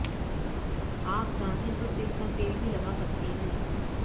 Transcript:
आप चाहे तो तिल का तेल भी लगा सकती है